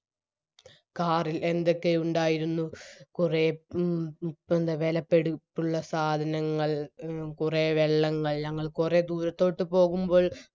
car ഇൽ എന്തൊക്കെ ഉണ്ടായിരുന്നു കുറെ മ് പിന്നെ വിലപിടിപ്പുള്ള സാധനങ്ങൾ കുറെ വെള്ളങ്ങൾ ഞങ്ങള് കുറെ ദൂരത്തോട്ട് പോകുമ്പോൾ